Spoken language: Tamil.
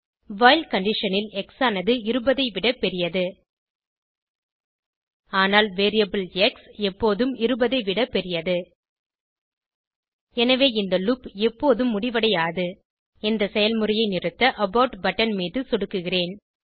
வைல் கண்டிஷன் ல் எக்ஸ் ஆனது 20 ஐ விட பெரியது ஆனால் வேரியபிள் எக்ஸ் எப்போது 20 ஐ விட பெரியது எனவே இந்த லூப் எப்போதும் முடிவடையாது இந்த செயல்முறையை நிறுத்த அபோர்ட் பட்டன் மீது சொடுக்குகிறேன்